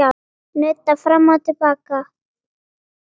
Nudda fram og til baka.